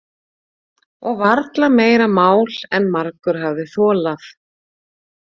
Og varla meira mál en margur hafði þolað.